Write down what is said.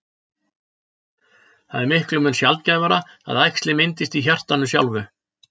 Það er miklum mun sjaldgæfara að æxli myndist í hjartanu sjálfu.